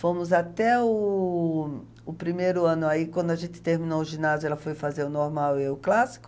Fomos até o o primeiro ano, aí quando a gente terminou o ginásio, ela foi fazer o normal e eu o clássico.